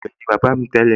àgbẹ̀ ni bàbá mi tẹ́lẹ̀